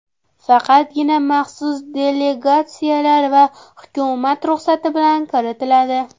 Faqatgina maxsus delegatsiyalar va hukumat ruxsati bilan kiritiladi.